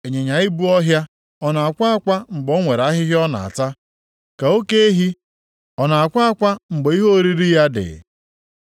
Ịnyịnya ibu ọhịa ọ na-akwa akwa mgbe o nwere ahịhịa ọ na-ata, ka oke ehi ọ na-akwa akwa mgbe ihe oriri ya dị?